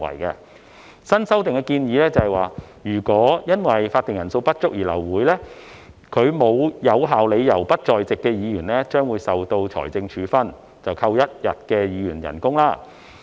根據新的修訂建議，如果因為法定人數不足而流會，沒有有效理由而不在席的議員將會受到財政處分，被扣除一天的議員薪酬。